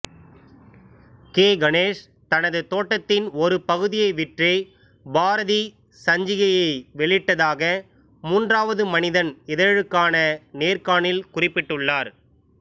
K Ganesh தனது தோட்டத்தின் ஒரு பகுதியை விற்றே பாரதி சஞ்சிகையை வெளியிட்டதாக மூன்றாவது மனிதன் இதழுக்கான நேர்காணலில் குறிப்பிட்டுள்ளார்